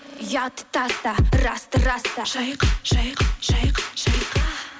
ұятты таста расты раста шайқа шайқа шайқа шайқа